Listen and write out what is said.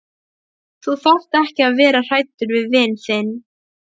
Þú þarft ekki að vera hræddur við vin þinn.